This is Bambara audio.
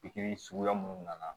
Pikiri suguya minnu nana